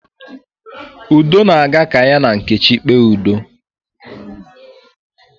Udo na-aga ka ya na nkechi kpee udo